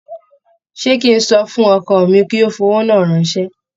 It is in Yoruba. Ṣé kí n sọ fún ọkọ mi kí ó fi owó náà ránṣẹ́?